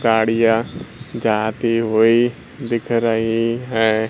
गाड़ियां जाती हुई दिख रही है।